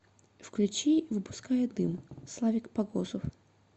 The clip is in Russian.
включи выпуская дым славик погосов